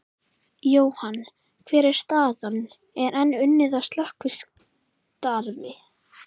Jóhann, hver er staðan, er enn unnið að slökkvistarfi?